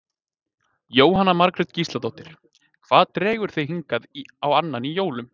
Jóhanna Margrét Gísladóttir: Hvað dregur þig hingað á annan í jólum?